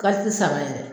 sama yɛrɛ